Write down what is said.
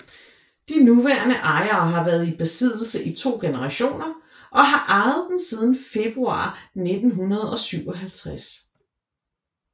De nuværende ejere har været i besiddelse i to generationer og har ejet den siden februar 1957